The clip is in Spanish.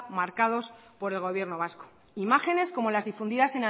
marcados por el gobierno vasco imágenes como las difundidas